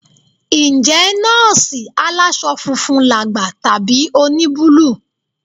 Ǹjẹ́ nọ́ọ̀sì aláṣọ funfun làgbà tàbí oníbúlù?